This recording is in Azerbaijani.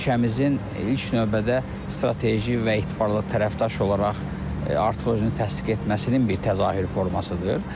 Ölkəmizin ilk növbədə strateji və etibarlı tərəfdaş olaraq artıq özünü təsdiq etməsinin bir təzahür formasıdır.